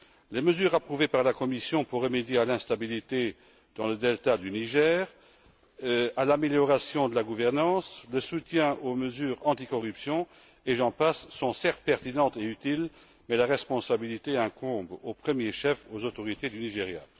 Les mesures approuvées par la Commission pour remédier à l'instabilité dans le delta du Niger, pour oeuvrer à l'amélioration de la gouvernance, pour apporter le soutien aux mesures anti corruption, et j'en passe, sont certes pertinentes et utiles mais la responsabilité incombe au premier chef aux autorités du Nigeria.